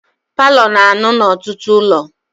Paalọ na-anụ n'ọtụtụ ụlọ.